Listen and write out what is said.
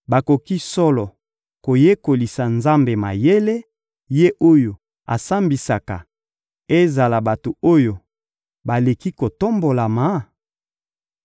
Bakoki solo koyekolisa Nzambe mayele, Ye oyo asambisaka ezala bato oyo baleki kotombolama?